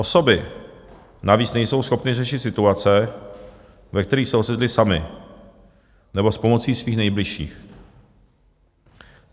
Osoby navíc nejsou schopny řešit situace, ve kterých se ocitly, samy nebo s pomocí svých nejbližších.